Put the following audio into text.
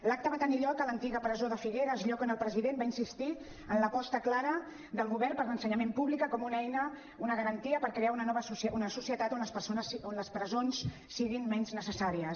l’acte va tenir lloc a l’antiga presó de figueres lloc on el president va insistir en l’aposta clara del govern per l’ensenyament públic com una eina una garantia per crear una societat on les presons siguin menys necessàries